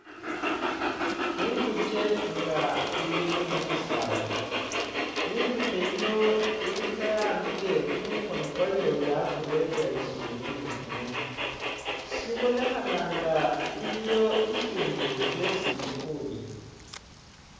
Inguche nga ili mushisaali inguche yino ili khe'ambile kumukhono kwayo yakurere shimbi ni kumunywa shibonekhanga nga iliyo shishindu shessi ili khulya